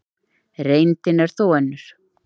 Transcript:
Reyndin er þó önnur.